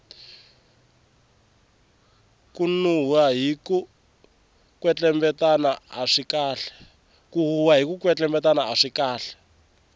ku huhwa hiku kwetlembetana aswi kahle